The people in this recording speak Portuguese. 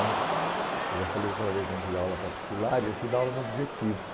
né, uhum, Eu já falei da aula particular e eu fui dar aula no objetivo.